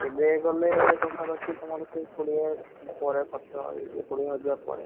ଏବେ ଗଲେ ପାଖା ପାଖି ତମର ସେଇ କୋଡିଏ ପରେ ଖର୍ଚ୍ଚ ହେଇ ଯିବ କୋଡିଏ ହଜାର ପରେ